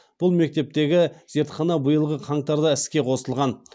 бұл мектептегі зертхана биылғы қаңтарда іске қосылған